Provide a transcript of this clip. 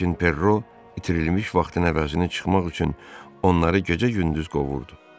Lakin Perro itirilmiş vaxtın əvəzini çıxmaq üçün onları gecə-gündüz qovurdu.